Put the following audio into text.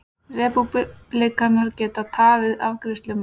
Repúblikanar geta tafið afgreiðslu málsins